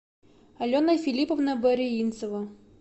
алена филипповна бариинцева